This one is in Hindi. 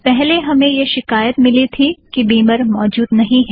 पहले हमे यह शिकायत मिली थी कि बिमर मौजूद नहीं है